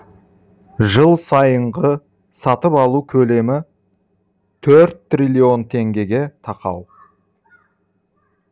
жыл сайынғы сатып алу көлемі төрт триллион теңгеге тақау